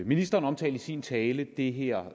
ministeren omtalte i sin tale det her